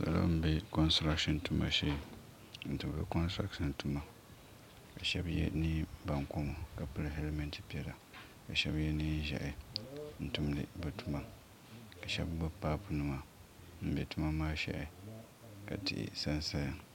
salo n bɛ konstirashin tuma shee n tumdi konstirashin tuma bi shab yɛ neen baŋkoma ka pili hɛlmɛnt piɛla ka shab yɛ neen ʒiɛhi n tumdi bi tuma ka shab gbubi paapu nima n bɛ tuma maa shɛhi ka tihi sansaya